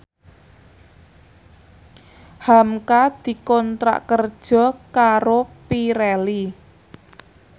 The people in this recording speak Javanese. hamka dikontrak kerja karo Pirelli